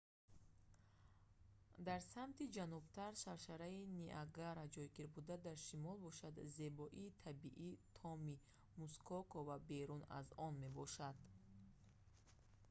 дар самти ҷанубтар шаршараи ниагара ҷойгир буда дар шимол бошад зебоии табиии томи мускока ва берун аз он мебошад